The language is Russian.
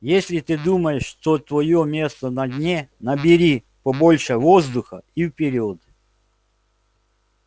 если ты думаешь что твоё место на дне набери побольше воздуха и вперёд